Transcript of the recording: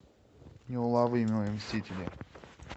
неуловимые мстители